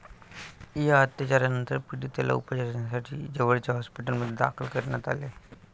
या अत्याचारानंतर पीडितेला उपचारांसाठी जवळच्या हॉस्पिटलमध्ये दाखल करण्यात आले.